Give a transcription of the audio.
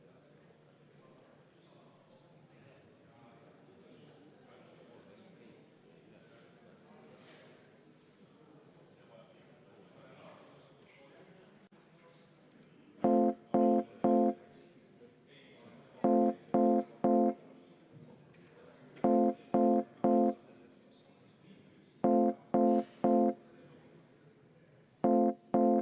Ja see on meil vaja läbi hääletada.